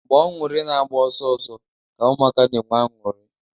Agba-ọñụrị na-agba ọsọ ọsọ ka ụmụaka na-enwe anụrị.